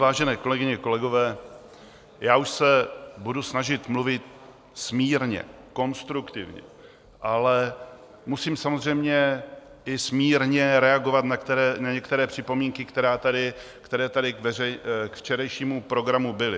Vážené kolegyně, kolegové, já už se budu snažit mluvit smírně, konstruktivně, ale musím samozřejmě i smírně reagovat na některé připomínky, které tady k včerejšímu programu byly.